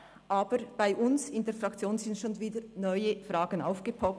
Aber bei uns in der Fraktion sind schon wieder neue Fragen «aufgepoppt».